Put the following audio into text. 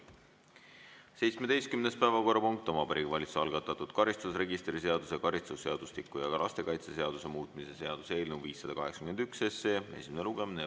17. päevakorrapunkt on Vabariigi Valitsuse algatatud karistusregistri seaduse, karistusseadustiku ja lastekaitseseaduse muutmise seaduse eelnõu 581 esimene lugemine.